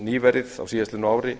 nýverið á síðastliðnu ári